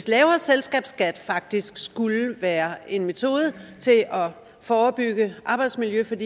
lavere selskabsskat faktisk skulle være en metode til at forebygge arbejdsmiljøskader